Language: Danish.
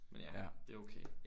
Ja det er okay